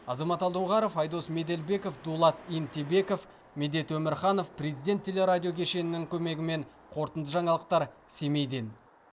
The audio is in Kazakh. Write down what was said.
азамат алдоңғаров айдос меделбеков дулат емтебеков медет өмірханов президент телерадиокешенінің көмегімен қорытынды жаңалықтар семейден